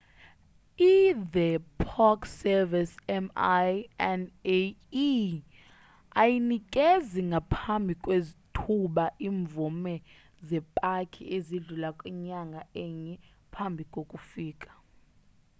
i the park service minae ayinikezi ngaphambi kwethuba imvume zepaki ezidlula kwinyanga enye phambi kokufika